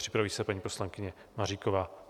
Připraví se paní poslankyně Maříková.